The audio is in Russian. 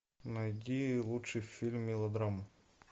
найди лучший фильм мелодраму